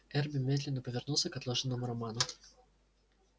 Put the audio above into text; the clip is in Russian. эрби медленно повернулся к отложенному роману